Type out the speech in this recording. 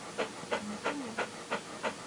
ника мед